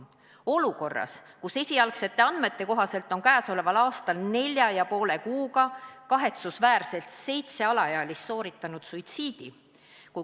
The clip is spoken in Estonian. Ja seda olukorras, kus esialgsete andmete kohaselt on tänavu nelja ja poole kuuga kahetsusväärselt seitse alaealist sooritanud suitsiidi.